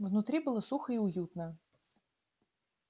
внутри было сухо и уютно